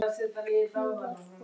Ég var frosin.